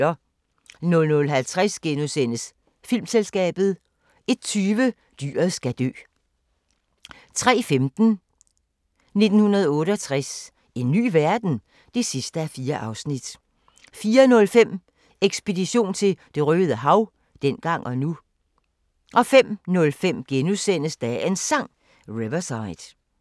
00:50: Filmselskabet * 01:20: Dyret skal dø 03:15: 1968 – en ny verden? (4:4) 04:05: Ekspedition til Det røde Hav – dengang og nu 05:05: Dagens Sang: Riverside *